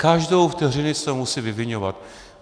Každou vteřinu se musí vyviňovat.